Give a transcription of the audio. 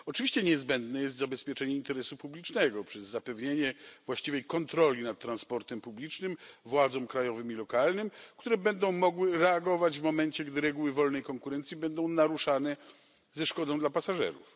Oczywiście niezbędne jest zabezpieczenie interesu publicznego przez zapewnienie właściwej kontroli nad transportem publicznym władzom krajowym i lokalnym, które będą mogły reagować w momencie, gdy reguły wolnej konkurencji będą naruszane ze szkodą dla pasażerów.